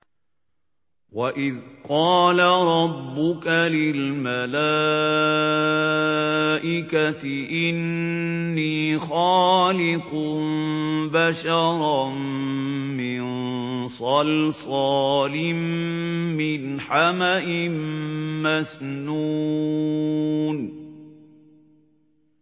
وَإِذْ قَالَ رَبُّكَ لِلْمَلَائِكَةِ إِنِّي خَالِقٌ بَشَرًا مِّن صَلْصَالٍ مِّنْ حَمَإٍ مَّسْنُونٍ